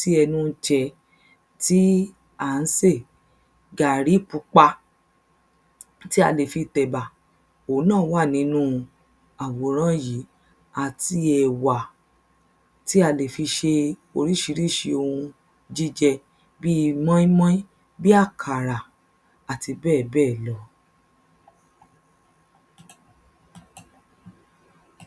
ti ṣètò ata Oun um ìsebẹ̀ ẹ̀fọ́ iyọ̀ irú àti bẹ́ẹ̀bẹ́ẹ̀ lọ Ìgbà míràn a ma ń fi edé si Gbogbo èyí ni a óò se papọ̀ tí ọbẹ̀ wa yóò fi di odindi